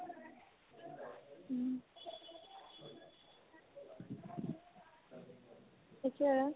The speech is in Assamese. সেইটোয়ে